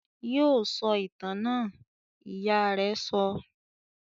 "Yóò sọ ìtàn náà!" Ìyá rẹ sọ.